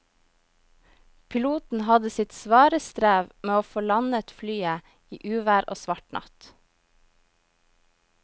Piloten hadde sitt svare strev med å få landet flyet i uvær og svart natt.